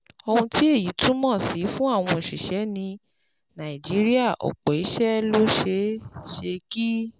Ohun tí èyí túmọ̀ sí fún àwọn òṣìṣẹ́ ní Nàìjíríà Ọ̀pọ̀ iṣẹ́ ló ṣeé ṣe kí